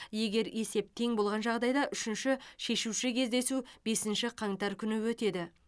егер есеп тең болған жағдайда үшінші шешуші кездесу бесінші қаңтар күні өтеді